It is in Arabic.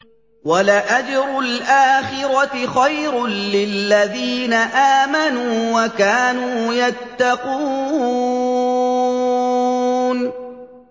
وَلَأَجْرُ الْآخِرَةِ خَيْرٌ لِّلَّذِينَ آمَنُوا وَكَانُوا يَتَّقُونَ